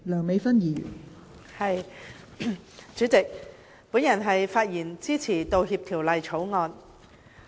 代理主席，我發言支持《道歉條例草案》。